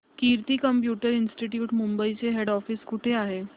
कीर्ती computer institute Mumbai चे head office कुठे आहे